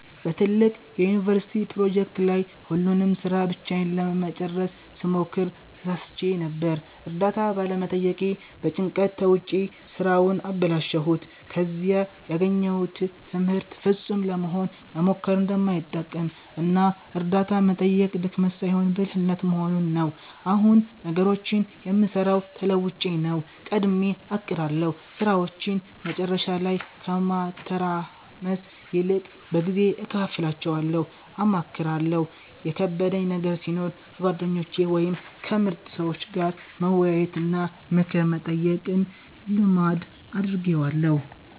በትልቅ የዩኒቨርሲቲ ፕሮጀክት ላይ ሁሉንም ሥራ ብቻዬን ለመጨረስ ስሞክር ተሳስቼ ነበር። እርዳታ ባለመጠየቄ በጭንቀት ተውጬ ሥራውን አበላሸሁት። ከዚህ ያገኘሁት ትምህርት ፍጹም ለመሆን መሞከር እንደማይጠቅም እና እርዳታ መጠየቅ ድክመት ሳይሆን ብልህነት መሆኑን ነው። አሁን ነገሮችን የምሠራው ተለውጬ ነው፦ ቀድሜ አቅዳለሁ፦ ሥራዎችን መጨረሻ ላይ ከማተራመስ ይልቅ በጊዜ እከፋፍላቸዋለሁ። አማክራለሁ፦ የከበደኝ ነገር ሲኖር ከጓደኞቼ ወይም ከምርጥ ሰዎች ጋር መወያየትና ምክር መጠየቅን ልማድ አድርጌዋለሁ።